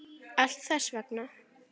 Allt þess vegna.